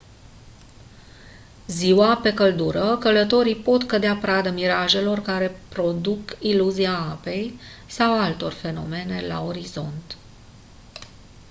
ziua pe căldură călătorii pot cădea pradă mirajelor care care produc iluzia apei sau altor fenomene la orizont